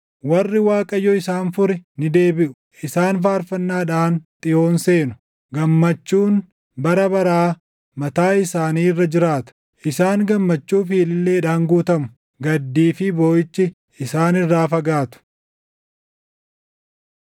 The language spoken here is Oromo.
warri Waaqayyo isaan fure ni deebiʼu. Isaan faarfannaadhaan Xiyoon seenu; gammachuun bara baraa mataa isaanii irra jiraata. Isaan gammachuu fi ililleedhaan guutamu; gaddii fi booʼichi isaan irraa fagaatu.